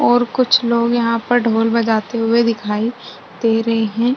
और कुछ लोग यहाँ पर ढ़ोल बजाते हुए दिखाई दे रहे हैं।